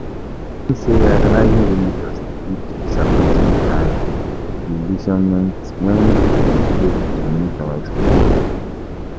I think say idolizing role models dey lead to disappointment and disillusionment when dem fail to meet our expectations.